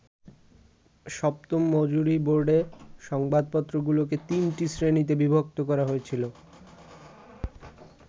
সপ্তম মজুরি বোর্ডে সংবাদপত্রগুলোকে তিনটি শ্রেণিতে বিভক্ত করা হয়েছিল।